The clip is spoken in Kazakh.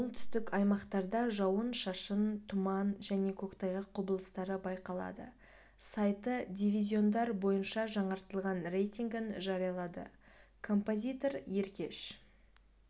оңтүстік аймақтарда жауын-шашын тұман және көктайғақ құбылыстары байқалады сайты дивизиондар бойынша жаңартылған рейтингін жариялады композитор еркеш